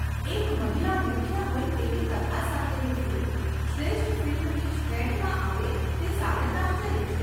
એક મહિલા મુખ્ય હોય તેવી કથા સાથેની ફિલ્મ શ્રેષ્ઠ ફિલ્મની શ્રેણીમાં આવે તે સાનંદાશ્ચર્ય છે.